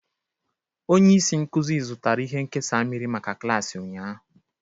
Onye isi nkuzi zụtara ihe nkesa mmiri maka klaasị ụnyahụ.